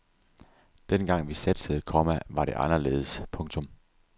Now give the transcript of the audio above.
Dengang vi satsede, komma var det anderledes. punktum